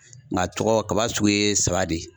Nka tɔgɔ kaba sugu ye saba de ye.